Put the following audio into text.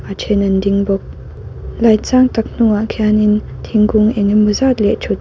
ṭhen an ding bawk light sang tak hnungah khianin thingkung engemaw zat leh ṭhut--